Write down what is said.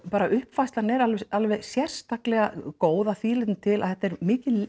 bara uppfærslan er alveg sérstaklega góð að því leytinu til að þetta er mikið